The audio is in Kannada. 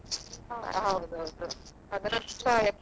ಹೌದೌದು.